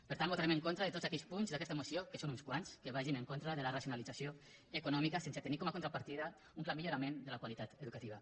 per tant votarem en contra de tots aquells punts d’aquesta moció que són uns quants que vagin en contra de la racionalització econòmica sense tenir com a contrapartida un clar millorament de la qualitat educativa